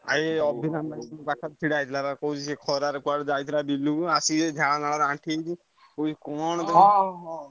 ଭାଇ ଛିଡା ହେଇଥିଲା ବା କହୁଛି ସେ ଖରାରେ କୁଆଡେ ଯାଇଥିଲା ବିଲୁକୁ ଆସିକି ଝାଳ ନାଳ ରେ ଆଣ୍ଠିଏ ହେଇକି କହୁଛି କଣ